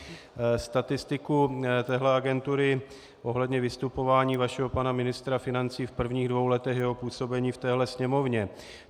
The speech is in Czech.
Statistiku téhle agentury ohledně vystupování vašeho pana ministra financí v prvních dvou letech jeho působení v téhle Sněmovně.